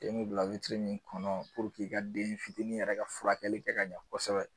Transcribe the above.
Den bɛ bila witiri min kɔnɔ puruke i ka den fitini yɛrɛ ka furakɛli kɛ ka ɲɛ kosɛbɛ.